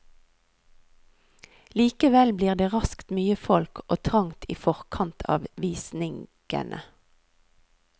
Likevel blir det raskt mye folk og trangt i forkant av visnigene.